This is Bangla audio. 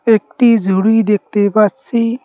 একটি জুড়ি দেখতে পারছি।